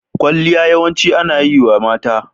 Kwalliya yawanci ana yi wa mata.